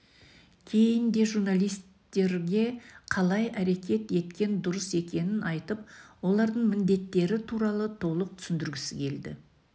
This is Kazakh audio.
кейін де журналистерге қалай әрекет еткен дұрыс екенін айтып олардың міндеттері туралы толық түсіндіргісі келді